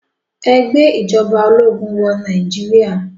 Ẹ gbé ìjọba ológun wọ Nàìjíríà.